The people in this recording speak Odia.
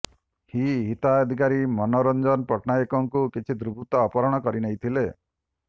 ହୀ ଅଧିକାରୀ ମନୋରଞନ ପଟ୍ଟନାୟକଙ୍କୁ କିଛି ଦୁର୍ବୃତ୍ତ ଅପହରଣ କରିନେଇଥିଲେ